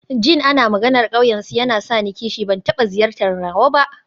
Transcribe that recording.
Jin ana maganar ƙauyensu yana sa ni kishi, ban taɓa ziyartar nawa ba.